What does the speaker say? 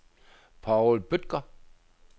Paul Bødker